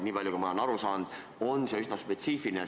Nii palju, kui mina olen aru saanud, on see üsna spetsiifiline valdkond.